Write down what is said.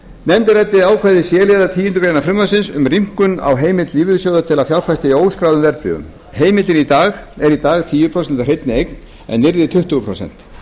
nefndin ræddi ákvæði c liðar tíundu greinar frumvarpsins um rýmkun á heimild lífeyrissjóða til að fjárfesta í óskráðum verðbréfum heimildin er í dag tíu prósent af hreinni eign en yrði tuttugu prósent